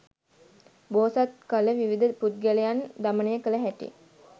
බෝසත් කල විවිධ පුද්ගලයන් දමනය කළ හැටි